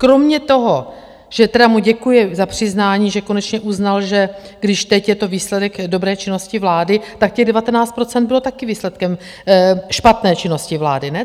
Kromě toho, že tedy mu děkuji za přiznání, že konečně uznal, že když teď je to výsledek dobré činnosti vlády, tak těch 19 % bylo také výsledkem špatné činnosti vlády, ne?